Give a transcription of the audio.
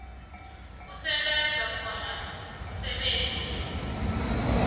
kusebenza khona umsebenzi